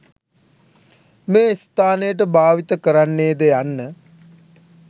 මේ ස්ථානයට භාවිත කරන්නේ ද යන්න